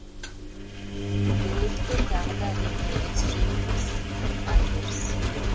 дэйвты тағы да рентгенге түсірейік мисс альберс